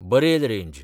Barail range